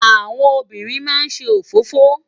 Áwòn óbìrín má n sé ófófó